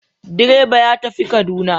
Direba ya tafi kaduna.